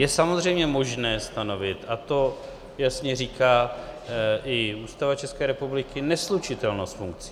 Je samozřejmě možné stanovit, a to jasně říká i Ústava České republiky, neslučitelnost funkcí.